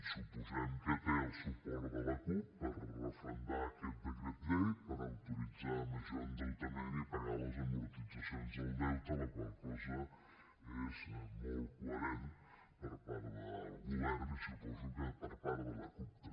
suposem que té el suport de la cup per referendar aquest decret llei per autoritzar major endeutament i pagar les amortitzacions del deute la qual cosa és molt coherent per part del govern i suposo que per part de la cup també